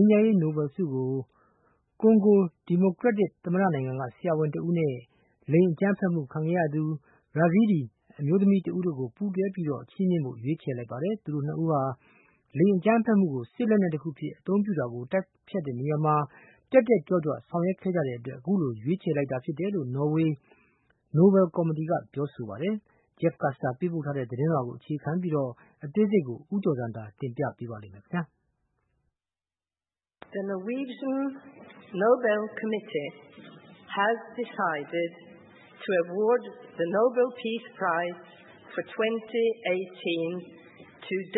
မ်းရေးနိုဘဲလ်ဆုကို ကွန်ဂိုဒီမိုကရက်တစ် သမ္မတနိုင်ငံက ဆရာဝန်တဦးနဲ့ လိင်အကြမ်းဖက်မှု ခံခဲ့ရသူ Yazidi အမျိုးသမီးတဦးတို့ကို ပူးတွဲ ချီးမြှင့်ဖို့ ရွေးချယ်လိုက်ပါတယ်။ သူတို့ ၂ ဦးဟာ လိင်အကြမ်းဖက်မှု ကို စစ်လက်နက်တခုအဖြစ် အသုံးပြုတာကို တိုက်ဖျက်တဲ့နေရာမှာ တက်တက်ကြွကြွ ဆောင်ရွက်ခဲ့ကြတဲ့ အတွက် အခုလိုရွေးချယ် လိုက်တာဖြစ်တယ်လို့ နော်ဝေးနိုဘယ် ကော်မတီက ဆိုပါတယ်။ Jeff Custer ပေးပို့ တဲ့ သတင်းလွှာကိုအခြေခံပြီး အသေးစိတ်ကို ဦးကျော်ဇံသာက တင်ပြပေးထားပါတယ်။ “၂၀၁၈ ခုနှစ်အတွက် ငြိမ်းချမ်းရေး နိုဘဲလ်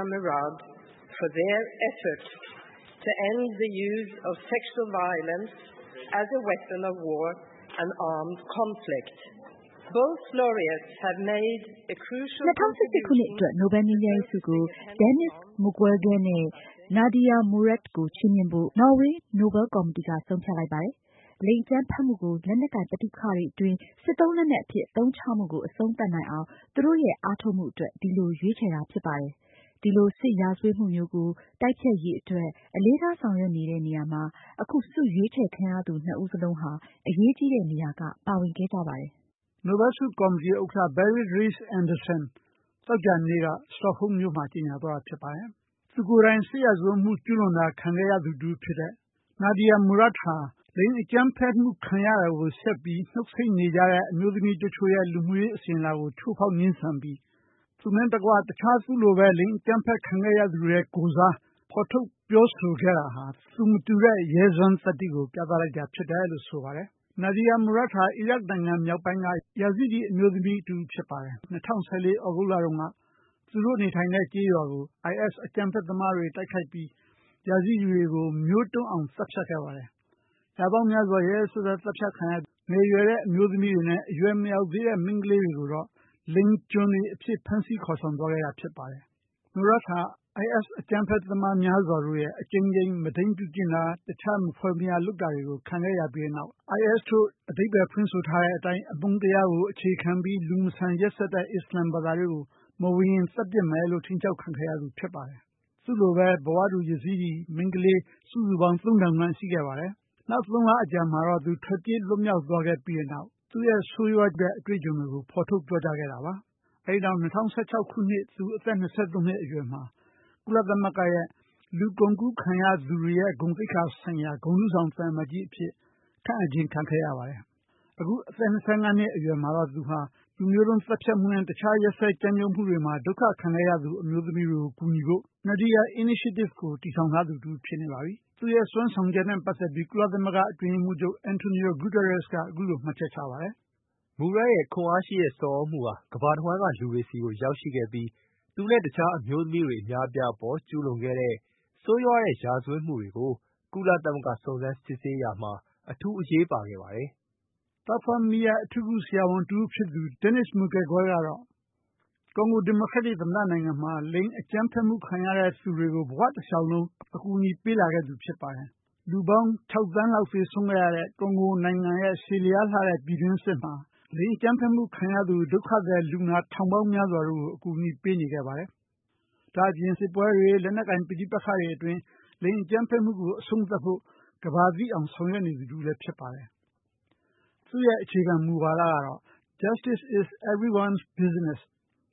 ဆုကို Denis Mukwege နဲ့ Nadia Murad တို့ကိုချီးမြှင့်ဖို့ နော်ဝေး နိုဘယ် ကော်မတီကဆုံးဖြတ်လိုက်ပါတယ်။ လိင်အကြမ်းဖက်မူကို လက်နက်ကိုင် ပဋိပက္ခတွေ အတွင်းစစ်သုံးလက်နက်အဖြစ် အသုံးချမူကို အဆုံးသတ်နိုင်အောင် သူတို့ရဲ့ အားထုတ်မှုအတွက် ဒီလိုရွေးချယ်တာ ဖြစ်ပါတယ်။ ဒီလိုစစ်ရာဇဝတ်မှုမျိုးကို တိုက်ဖျက်ရေးအတွက် အလေးထားဆောင်ရွက်နေတဲ့နေရာမှာ အခု ဆုရွေးချယ်ခံရသူနှစ်ဦးစလုံးဟာ အရေးကြီးတဲ့နေရာက ပါဝင်ခဲ့ကြပါတယ်။” နိုဘဲလ်ဆုကော်မတီဥက္ကဋ္ဌ Berit Reiss-Andersenသောကြာနေ့က stockhom မြို့မှာကြေညာသွားတာ ဖြစ်ပါတယ်။ သူကိုယ်တိုင်စစ်ရာဇဝတ်မှု ကျူးလွန်ခံရသူတဦးဖြစ်တဲ့ Nadia Murad ဟာ လိင်အကြမ်းဖက်မှု ခံရတာကို ဆက်ပြီးနှုတ်ဆိတ်နေကြရတဲ့ အမျိုးသမီးတချို့ရဲ့ လူမှုရေး အစဉ်အလာကိုချိုးဖောက်ငြင်းဆန်ပြီး သူနှင့်တကွ အခြားသူလိုပဲ လိင်အကြမ်းဖက်မူခံရသူရဲ့ကိုယ်စား ဖော်ထုတ်ပြောဆိုခဲ့တာဟာ သူမတူတဲ့ ရဲစွမ်း သတ္တိကို ပြသလိုက်တာဖြစ်တယ်လို့ဆိုပါတယ်။ Nadia Murad ဟာ အီရတ် နိုင်ငံမြောက်ပိုင်းက Yazidi အမျိုးသမီးတဦးဖြစ်ပါတယ်။ ၂၀၁၄ သြဂုတ်လတုန်းက သူတို့နေထိုင်တဲ့ကျေးရွာကို IS အကြမ်းဖက်သမားတွေ တိုက်ခိုက် ပြီး Yazidi တွေကိုမျိုးတုန်းအောင် သတ်ဖြတ်ခဲ့ပါတယ်။ ရာပေါင်းများစွာ ရက်ရက်စက်စက် သတ်ဖြတ်ခံရပြီး ငယ်ရွယ်တဲ့အမျိုးသမီးတွေနဲ့ အရွယ်မရောက်သေးတဲ့ မိန်းကလေးတွေကိုတော့ လိင်ကျွန်တွေ အဖြစ် ဖမ်းဆီးခေါ်ဆောင်သွားခဲ့တာဖြစ်ပါတယ်။ Murad ဟာ IS အကြမ်းဖက်သမားများစွာတို့ရဲ့ အကြိမ်ကြိမ် မုဒိန်းပြုကျင့်တာ၊ တခြားမဖွယ်မရာလုပ်တာတွေကို ခံခဲ့ရပြီးတဲ့နောက် IS တို့ အဓိပ္ပာယ်ဖွင့်ဆိုထားတဲ့အတိုင်း အမုန်းတရားကို အခြေခံပြီး လူမဆန်ရက်စက်တဲ့ အစ္စလာမ်ဘာသာကို မဝင်ရင် သတ်ပစ်မယ်လို့ ချိန်းခြောက် ခံခဲ့ရသူ ဖြစ်ပါတယ်။ သူ့လိုပဲ ဘဝတူ Yazidi မိန်းကလေးစုစုပေါင်း ၃၀၀၀ ခန့် ရှိခဲ့ပါတယ်။ နောက် သုံးလအကြာ မှာတော့သူထွက်ပြေးလွတ် မြောက်သွားခဲ့ပြီးတဲ့နောက် သူရဲ့ဆိုးရွားတဲ့အတွေ့အကြုံတွေကို ဖော်ထုတ်ပြောကြားခဲ့တာပါ။ အဲဒီနောက် ၂၀၁၆ ခုနှစ် သူအသက်၂၃ နှစ် အရွယ်မှာ ကုလသမဂ္ဂရဲ့ လူကုန်ကူးခံရသူတွေရဲ့ ဂုဏ်သိက္ခာ ဆိုင်ရာ ဂုဏ်ထူးဆောင်သံအမတ်ကြီး အဖြစ်ခန့်အပ်ခြင်းခံခဲ့ရပါတယ်။ အခု အသက်၂၅ နှစ်အရွယ်မှာတော့ သူဟာ လူမျိုးတုန်းသတ်ဖြတ်မှုနဲ့ တခြား ရက်စက်ကြမ်းကြုတ်မှုတွေမှာ ဒုက္ခခံခဲ့ရ သူ အမျိုးသမီးတွေကို ကူညီဖို့ Nadia Initiative ကို တည်ထောင်ထားသူတဦးလည်းဖြစ်နေပါပြီ။ သူရဲ့စွမ်းဆောင်ချက်နဲ့ပတ်သက်ပြီး ကုလသမဂ္ဂ အတွင်းရေးမှူးချုပ် António Guterres ကအခုလို မှတ်ချက်ချပါတယ်။ “Murad ရဲ့ ခွန်အားရှိတဲ့ ဆော်သြမူဟာ ကမ္ဘာ့တဝန်းမှာရိှတဲ့ တခြားအမျိုးသမီးတွေအများအပြား အပေါ် ကျူးလွန်ခဲ့တဲ့ ဆိုးရွားတဲ့ရာဇဝတ်မူတွေကို ကုလသမဂ္ဂ စုံစမ်းစစ်ဆေးရာမှာ အထူး အရေးပါခဲ့ပါတယ်။” သားဖွားမီးယပ်အထူးကုဆရာဝန်တဦးဖြစ်သူ Denis Mukwege ကတော့ ကွန်ဂိုဒီမိုကရက်တစ် သမ္မတနိုင်ငံမှာ လိင်အကြမ်းဖက်မှု ခံရတဲ့သူတွေကို ဘဝတလျှောက်လုံး ကူညီပေးလာခဲ့သူ ဖြစ်ပါ တယ်။ လူပေါင်း ၆ သန်း လောက် သေဆုံးခဲ့ရတဲ့ ကွန်ဂိုနိုင်ငံရဲ့ ရှည်လျားလှတဲ့ ပြည်တွင်းစစ်မှာ လိင်အကြမ်းဖက်မှုခံရသူ ဒုက္ခသည် ထောင်ပေါင်းများစွာတို့ကို အကူအညီ ပေးနေခဲ့ပါတယ်။ ဒါ့အပြင်စစ်ပွဲတွေ လက်နက်ကိုင်ပဋိပက္ခတွေ အတွင်း လိင်အကြမ်းဖက်မှု ကိုအဆုံးသတ်ဖို့ ကမ္ဘာသိအောင်ဆောင်ရွက်နေတာလည်းဖြစ်ပါတယ်။ သူရဲ့ အခြေခံ မူဝါဒကတော့ “Justice is everyone business”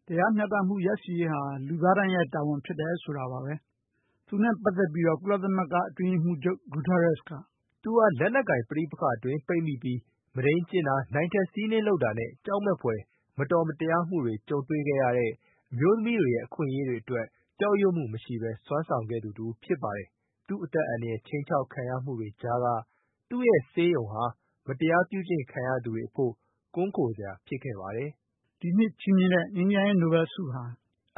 တရားမျှတ ရရှိမှုရရှိရေးဟာ လူသားတိုင်းရဲ့တာဝန်ဖြစ်တယ် ဆိုတာပါပဲ။ သူနဲ့ပတ်သက်ပြီးတော့ ကုလသမဂ္ဂ အတွင်းရေးမှူးချုပ် António Guterres က “သူဟာလက်နက်ကိုင်ပဋိပက္ခအတွင်း ပိတ်မိပြီး မုဒိန်းကျင့်တာနိုင်ထက်စီးနင်းလုပ်တာနဲ့ ကြောက်မက်ဖွယ် မတော်မတရားမှုတွေကြုံတွေ့ခဲ့ရတဲ့ အမျိုးသမီးတွေရဲ့အခွင့်အရေးအတွက် ကြောက်ရွံ့မှုမရှိဘဲ စွမ်းဆောင်ခဲ့ သူတဦးဖြစ်ပါတယ်။ သူ့အသက်အန္တရာယ်ခြိမ်းခြောက်ခံရမူ တွေကြားက သူရဲ့ ဆေးရုံဟာ မတရားပြုကျင့် ခံရသူတွေရဲ့ ပုန်းခိုစရာဖြစ်ခဲ့ပါတယ်။" ဒီနှစ်ချီးမြှင့်တဲ့ နိုဘဲလ်ဆုဟာ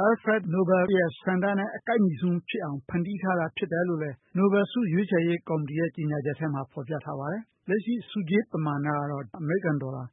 Alfred Nobel ရဲ့ ဆန္ဒနဲ့ အကိုက်ညီဆုံးဖြစ်အောင် ဖန်တီး ထားတာဖြစ်တယ် လို့လည်း နိုဘယ်ဆုရွေးချယ်ရေးကော်မတီ ရဲ့ ကျေညာချက်ထဲမှာ ဖော်ပြထားပါတယ်။ လက်ရှိ ဆုကြေး ပမာဏကတော့ အမေရိကန်ဒေါ်လာ